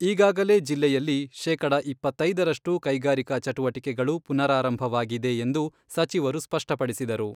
ಈಗಾಗಲೇ ಜಿಲ್ಲೆಯಲ್ಲಿ ಶೇಕಡ ಇಪ್ಪತ್ತೈದರಷ್ಟು ಕೈಗಾರಿಕಾ ಚಟುವಟಿಕೆಗಳು ಪುನರಾರಂಭವಾಗಿದೆ ಎಂದು ಸಚಿವರು ಸ್ಪಷ್ಟಪಡಿಸಿದರು.